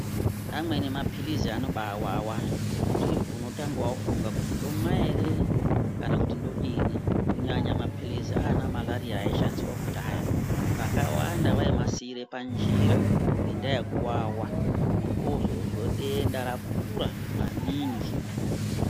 Amweni mapirizi anoba wawa zvekuti unotanga wafunga kuti ndomwa ere kana kuti ndodini kunyanya mapirizi ana malarira aishandisa kudhaya vakawanda vaimasiira panjira ngenda yekuwawa muntu ozoiswa denda rakura mamingu.